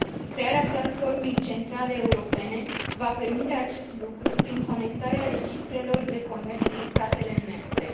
Crearea platformei centrale europene va permite acest lucru prin conectarea registrelor de comerț din statele membre.